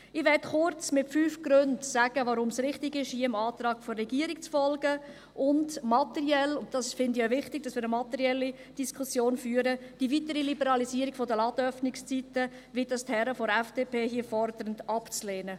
Ich möchte kurz anhand von fünf Gründen sagen, weshalb es richtig ist, dem Antrag des Regierungsrates zu folgen, und materiell – ich finde es auch wichtig, dass wir eine materielle Diskussion führen – die weitere Liberalisierung der Ladenöffnungszeitungen, wie es die Herren der FDP hier fordern, abzulehnen.